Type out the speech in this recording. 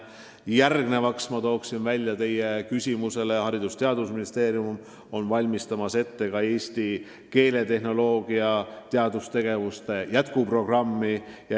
Veel märgin teie küsimusele vastates, et Haridus- ja Teadusministeerium valmistab ette eesti keeletehnoloogiaga seotud teadustegevuse jätkuprogrammi.